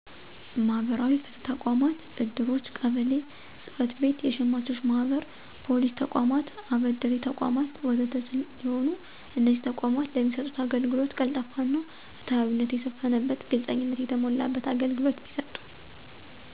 መህበራዊ ፍትህ ተቋማት፣ እድሮች፣ ቀበሌ ጸጽቤቶች፣ የሸማቾች ማህበር፣ ፖሊስ ተቋማት፣ አበዴሪተቋማት፣ ወዘተ ሰሲሆኑ እነዚህ ተቋማት ለሚሰጡት አገልግሎት ቀልጣፋና ፍትሀዊነት የሰፈነበት፣ ግልጽኝነት የተሞላበት አገልግሎት ቢሰጡ።